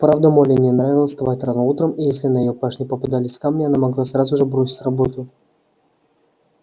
правда молли не нравилось вставать рано утром и если на её пашне попадались камни она могла сразу же бросить работу